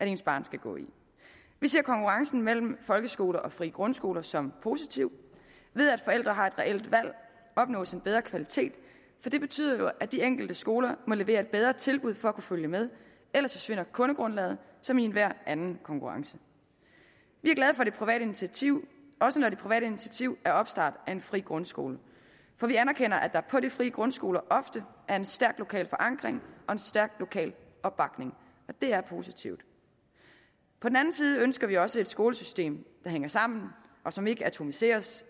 ens barn skal gå i vi ser konkurrencen mellem folkeskoler og frie grundskoler som positivt ved at forældre har et reelt valg opnås en bedre kvalitet for det betyder jo at de enkelte skoler må levere et bedre tilbud for at kunne følge med ellers forsvinder kundegrundlaget som i enhver anden konkurrence vi er glade for det private initiativ også når det private initiativ er opstart af en fri grundskole for vi anerkender at der på de frie grundskoler ofte er en stærk lokal forankring og en stærk lokal opbakning det er positivt på den anden side ønsker vi også et skolesystem der hænger sammen og som ikke atomiseres